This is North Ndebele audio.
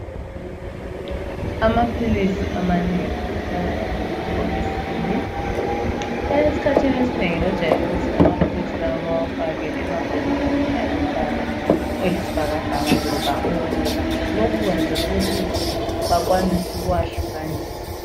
Amaphilisi amanengi ahlala esemabhokisini .Eskhathini esinengi bajayelu kuthi amaphilisi lawa bawafake emabhokisini alombala oyisibhakabhaka loba obomvu . Lokhu kwenzelwa ukuthi bakwanise ukuwehlukanisa.